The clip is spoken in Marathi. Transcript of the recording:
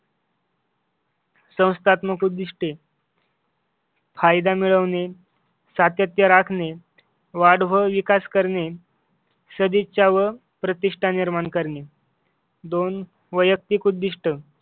संस्थात्मक उद्दिष्टे फायदा मिळवणे, सातत्य राखणे, वाढ व विकास करणे, सदिच्छा व प्रतिष्ठा निर्माण करणे. दोन वैयक्तिक उद्दिष्टे